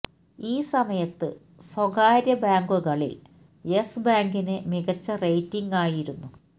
ഈ സമയത്ത് സ്വകാര്യ ബാങ്കുകളില് യെസ് ബാങ്കിന് മികച്ച റേറ്റിംഗ് ആയിരുന്നു